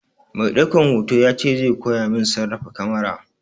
Mai ɗaukan hoto ya ce zai koya min sarrafa kamara.